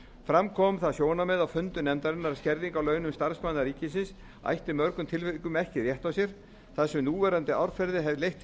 fram kom það sjónarmið á fundum nefndarinnar að skerðing á launum starfsmanna ríkisstofnana ætti í mörgum tilvikum ekki rétt á sér þar sem núverandi árferði hefði leitt til